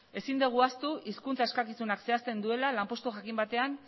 ezin dugu ahaztu hizkuntza eskakizunak zehazten duela lanpostu jakin batean